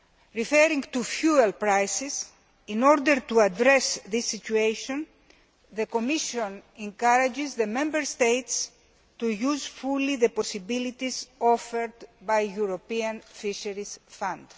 With reference to fuel prices, in order to address this situation, the Commission encourages the Member States to use fully the possibilities offered by the European Fisheries Fund.